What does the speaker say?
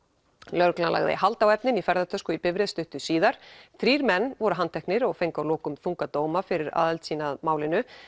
lögreglan lagði hald á efnin í ferðatösku í bifreið stuttu síðar þrír menn voru handteknir og fengu að lokum þunga dóma fyrir aðild sína að málinu